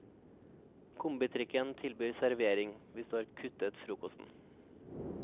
Kombitrikken tilbyr servering, hvis du har kuttet frokosten.